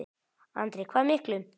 Andri: Hvað miklum?